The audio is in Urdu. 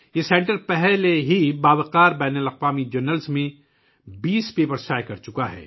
سنٹر پہلے ہی معروف بین الاقوامی جرائد میں 20 مقالے شائع کر چکا ہے